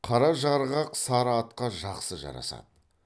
қара жарғақ сары атқа жақсы жарасады